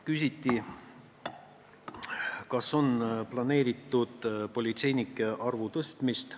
Küsiti, kas on planeeritud politseinike arvu tõstmist.